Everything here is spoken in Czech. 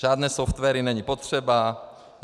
Žádné softwary není potřeba.